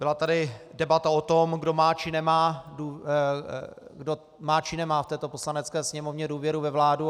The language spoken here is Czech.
Byla tady debata o tom, kdo má či nemá v této Poslanecké sněmovně důvěru ve vládu.